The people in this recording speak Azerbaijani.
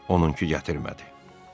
Onunki gətirmədi.